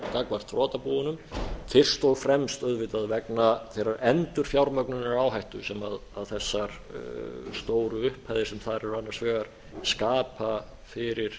gagnvart þrotabúunum fyrst og fremst auðvitað vegna þeirrar endurfjármögnunaráhættu sem þessar stóru upphæðir sem þar eru annars vegar skapa fyrir